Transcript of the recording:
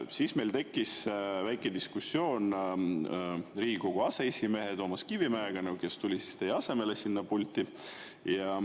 Siis meil tekkis väike diskussioon Riigikogu aseesimehe Toomas Kivimäega, kes tuli teie asemele sinna pulti.